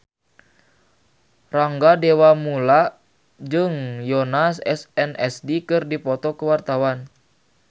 Rangga Dewamoela jeung Yoona SNSD keur dipoto ku wartawan